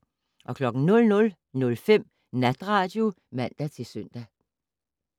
00:05: Natradio (man-søn)